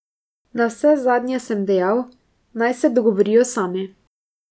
Navsezadnje sem dejal, naj se dogovorijo sami.